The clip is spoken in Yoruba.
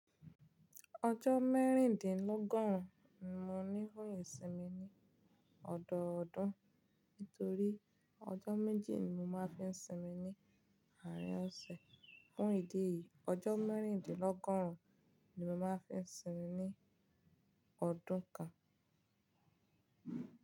Ọjọ́ mẹ́ríndínlọ́gọ́rùn ni mo ní fún ìsinmi ní ọ̀dọọ̀dún. Nítorí ọjọ́ méjì ni mo máa ń fi sinmi ní àárín ọ̀sẹ̀. Fún ìdí èyí, ọjọ́ mẹ́ríndínlọ́gọ́rùn ni mo máa ń fi sinmi ní ọdún kan.